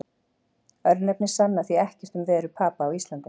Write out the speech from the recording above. Örnefni sanna því ekkert um veru Papa á Íslandi.